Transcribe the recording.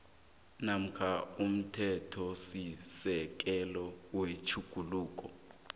namkha umthethosisekelo wetjhuguluko